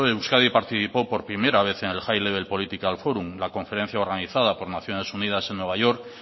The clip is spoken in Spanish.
euskadi participó por primera vez en el highl level political forum la conferencia organizada por naciones unidas en nueva york